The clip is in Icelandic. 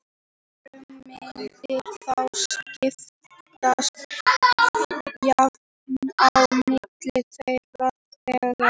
Arfurinn mundi þá skiptast jafnt á milli þeirra þriggja.